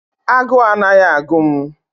A guu anaghị agụ m